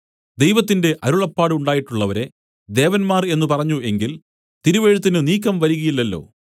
ദൈവത്തിന്റെ അരുളപ്പാട് ഉണ്ടായിട്ടുള്ളവരെ ദേവന്മാർ എന്നു പറഞ്ഞു എങ്കിൽതിരുവെഴുത്തിന് നീക്കം വരികയില്ലല്ലോ